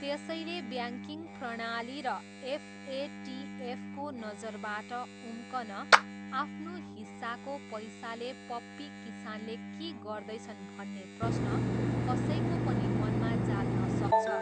त्यसैले ब्याङ्किङ प्रणाली र एफएटिएफको नजरबाट उम्कन आफ्नो हिस्साको पैसाले पप्पी किसानले के गर्दैछन् भन्ने प्रश्न कसैको पनि मनमा जाग्न सक्छ।